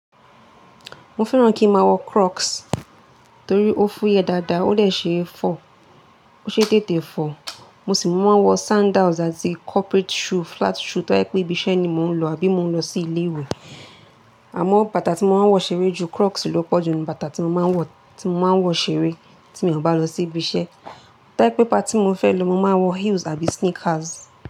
Mo fẹ́ràn kí n máa wọ Crocs torí ó fúyẹ dáadáa, ó dè ṣe é fọ̀, ó ṣe é tètè fọ̀. Mo sì máa ń wọ sandals àti corporate shoe, flat shoe tó bá jẹ́ pé ibi iṣẹ́ ni mò ń lọ àbí mò ń lọ sí ilé ìwé. Àmọ́ bàtà tí mo máa ń wọ ṣeré ju Crocs lo pọ̀ ju nínú bàtà tí mo máa ń wọ, tí mo máa ń wọ ṣeré tí mi ò bá lọ sí ibi iṣẹ́. Tí bá jẹ́ pé party n mo fẹ́ lọ, mo máa wọ heels àbí sneakers.